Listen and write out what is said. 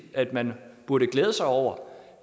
at man burde glæde sig over